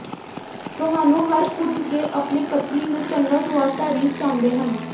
ਤੁਹਾਨੂੰ ਹਰ ਕੁਝ ਦੇ ਆਪਣੇ ਪਤਨੀ ਨੂੰ ਚੰਗਾ ਸੁਆਦ ਤਾਰੀਫ਼ ਚਾਹੁੰਦੇ ਹਨ